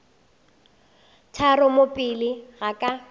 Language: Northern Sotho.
tharo mo pele ga ka